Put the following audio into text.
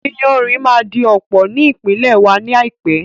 Iyanrìn máa di ọ̀pọ̀ ní ìpínlè wa ní àìpé